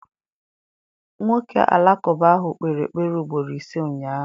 Nwoke Alakụba ahụ kpere ekpere ugboro ise ụnyahụ.